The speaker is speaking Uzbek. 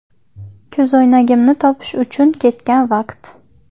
Ko‘zoynagimni topish uchun ketgan vaqt”.